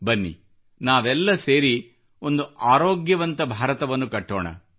ಬನ್ನಿ ನಾವೆಲ್ಲ ಸೇರಿ ಒಂದು ಆರೋಗ್ಯವಂತ ಭಾರತವನ್ನು ಕಟ್ಟೋಣ